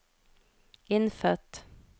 innfødt